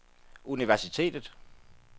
universitetet